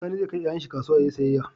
Sani ze kai yayan shi kasuwa yayi siyayya